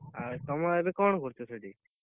ଆଉ ତମ ଏବେ କଣ କରୁଛ ସେଠି?